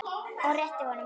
Og rétti honum blómin.